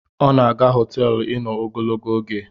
O na-aga hoteelu ino ogologo oge